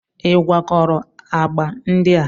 Ị gwakọrọ agba ndị a?